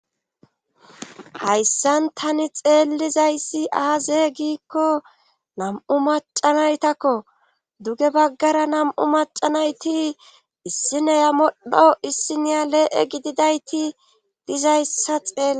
hayssan tani xeellizayssi aaze giikko nam7u macanaytakko duge baggara nam7u macanayti issineya modho issiniya lee7e gididayti dizayssa xeel